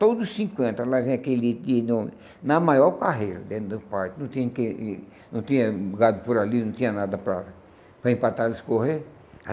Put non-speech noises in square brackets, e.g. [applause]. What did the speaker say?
Todos os cinquenta, lá vem aquele que no na maior carreira dentro do parque, não tinha [unintelligible] não tinha gado por ali, não tinha nada para para empatar, eles correr.